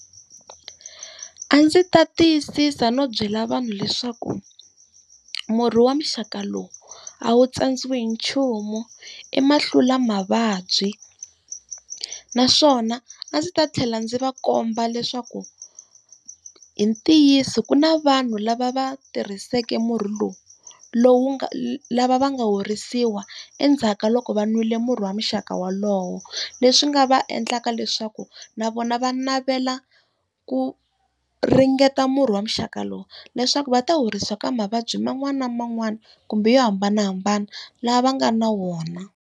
A ndzi ta tiyisisa no byela vanhu leswaku, murhi wa muxaka lowu a wu tsandziwi hi nchumu, i ma hlula mavabyi. Naswona a ndzi ta tlhela ndzi va komba leswaku hi ntiyiso ku na vanhu lava va tirhisake murhi lowu, lowu nga lava va nga horisiwa endzhaku ka loko va nwile e murhi wa muxaka wolowo. leswi nga va endlaka lowu leswaku na vona va navela ku ringeta murhi wa muxaka lowu, leswaku va ta horisiwa ka mavabyi man'wani na man'wani kumbe yo hambanahambana lava va nga na wona.